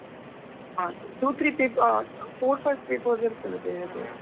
ಹಾಗೆ, two three paper , ಅ four five papers ಇರ್ತದೆ, ಬೇರೆ ಬೇರೆ.